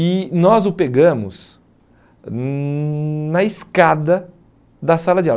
E nós o pegamos hum na escada da sala de aula.